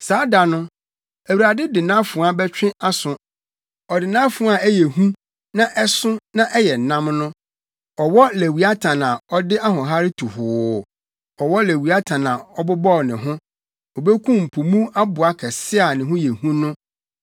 Saa da no, Awurade de nʼafoa bɛtwe aso, ɔde nʼafoa a ɛyɛ hu na ɛso na ɛyɛ nnam no, ɔwɔ Lewiatan a ɔde ahoɔhare tu hoo, ɔwɔ Lewiatan a ɔbobɔw ne ho; obekum po mu aboa kɛse a ne ho yɛ hu no.